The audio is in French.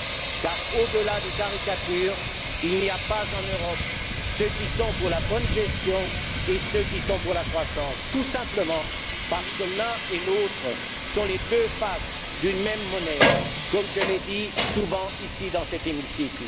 En effet, au delà des caricatures, il n'y a pas en Europe ceux qui sont pour la bonne gestion et ceux qui sont pour la croissance, tout simplement parce que l'une et l'autre sont les deux faces d'une même monnaie, comme je l'ai dit souvent ici, dans cet hémicycle.